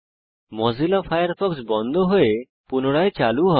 Mozilla Firefox বন্ধ হয়ে পুনরায় চালু হবে